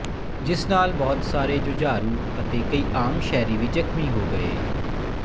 ਜਿਸ ਨਾਲ ਬਹੁਤ ਸਾਰੇ ਜੁਝਾਰੂ ਅਤੇ ਕਈ ਆਮ ਸ਼ਹਿਰੀ ਵੀ ਜ਼ਖ਼ਮੀ ਹੋ ਗਏ